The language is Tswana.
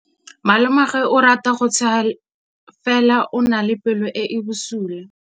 Malomagwe o rata go tshega fela o na le pelo e e bosula.